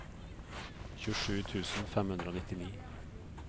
tjuesju tusen fem hundre og nittini